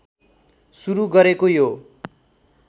सुरु गरेको यो